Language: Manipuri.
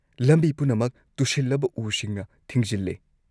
ꯂꯝꯕꯤ ꯄꯨꯝꯅꯃꯛ ꯇꯨꯁꯤꯜꯂꯕ ꯎꯁꯤꯡꯅ ꯊꯤꯡꯖꯤꯜꯂꯦ꯫